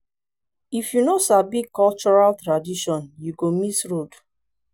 if you no sabi cultural tradition you go miss road